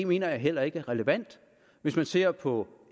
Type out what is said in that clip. mener jeg heller ikke er relevant hvis man ser på